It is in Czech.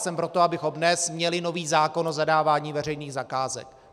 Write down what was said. Jsem pro to, abychom dnes měli nový zákon o zadávání veřejných zakázek.